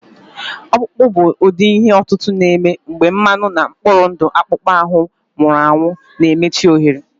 Ọkpụkpụ bụ ụdị ihe otutu na-eme mgbe mmanụ na mkpụrụ ndụ akpụkpọ ahụ nwụrụ anwụ na-emechi ohere